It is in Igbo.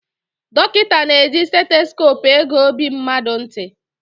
Dọkịta na-eji seitosope ege ọbi mmadụ ntị.